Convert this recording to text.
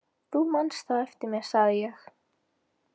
Þú manst þá eftir mér, sagði ég.